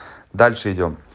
дальше идём